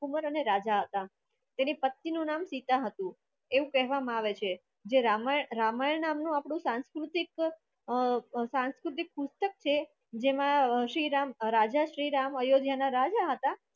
રાજકુમાર અને રાજા હતા તેમની પત્નીનું નામ સીતા હતું એવું કહેવામાં આવે છે જે રામાયણ રામાયણ નો સાંસ્કૃતિક અ સાંસ્કૃતિક પુસ્તક છે જેમાં શ્રી રામ રાજા શ્રી રામ અયોધ્યાના રાજા હતા